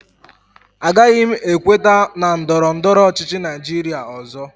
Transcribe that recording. Agaghị m ekweta na ndọrọ ndọrọ ọchịchị Naijiria ọzọ